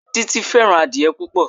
Títí fẹ́ràn adìẹ púpò.